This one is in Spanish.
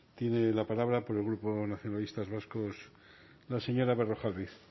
tiene la palabra por el grupo nacionalistas vascos la señora berrojalbiz